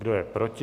Kdo je proti?